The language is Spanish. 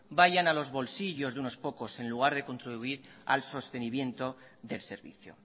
vayan a los bolsillos de unos pocos en lugar de contribuir al sostenimiento del servicio